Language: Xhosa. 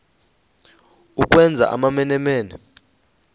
ukwenza amamene mene